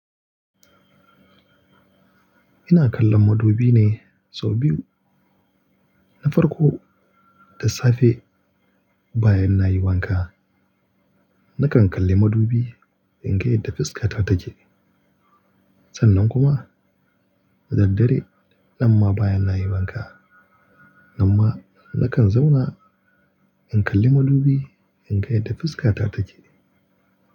Ina kallon madubi ne sau biyu. Na farko da safe bayan nayi wanka, nakan kalli madubi in ga yadda fuskata ta take. Sannan kuma da daddare nan ma bayan nayi wanka, nan ma nakan zauna in kalli madubi in ga yadda fuskata ta take.